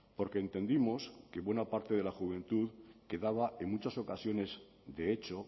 porque entendimos que buena parte de la juventud quedaba en muchas ocasiones de hecho